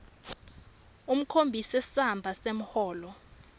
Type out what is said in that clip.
ukhombise samba semholo